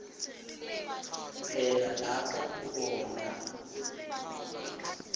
phela lapho ubona